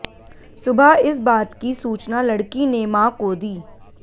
सुबह इस बात की सूचना लड़की ने मां को दी